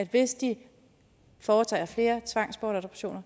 hvis de foretager flere tvangsbortadoptioner